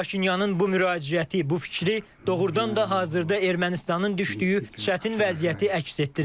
Paşinyanın bu müraciəti, bu fikri doğurdan da hazırda Ermənistanın düşdüyü çətin vəziyyəti əks etdirir.